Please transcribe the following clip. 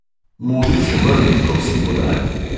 Modri čeber mi prosim podaj.